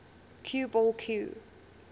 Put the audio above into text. cue ball cue